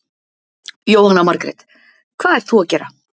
Jóhanna Margrét: Hvað ert þú að gera?